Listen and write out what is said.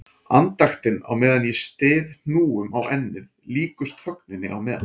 Andaktin á meðan ég styð hnúum á ennið líkust þögninni á meðan